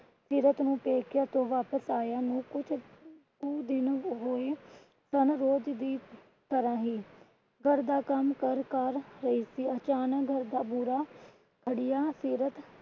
ਸੀਰਤ ਨੂੰ ਪੇਕਿਆਂ ਤੋਂ ਵਾਪਿਸ ਆਇਆਂ ਨੂੰ ਕੁਛ ਕੁ ਦਿਨ ਹੋਏ ਸਨ। ਰੋਜ਼ ਦੀ ਤਰ੍ਹਾਂ ਹੀ ਘਰ ਦਾ ਕੰਮ ਕਾਰ ਕਰ ਰਹੀ ਸੀ। ਅਚਾਨਕ ਘਰ ਦਾ ਬੁਰਾ ਹੱਡੀਆਂ ਸੀਰਤ